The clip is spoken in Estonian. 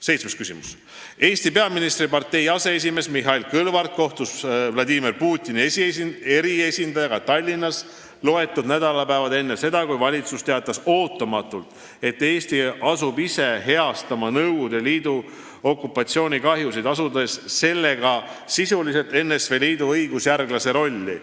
Seitsmes küsimus: "Eesti peaministripartei aseesimees Mihhail Kõlvart kohtus Vladimir Putini eriesindajaga Tallinnas loetud nädalad enne seda, kui valitsus teatas ootamatult, et Eesti asub ise heastama Nõukogude Liidu okupatsioonikahjusid, asudes sellega sisuliselt NSV Liidu õigusjärglase rolli.